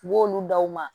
U b'olu da u ma